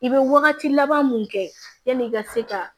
I bɛ wagati laban mun kɛ yanni i ka se ka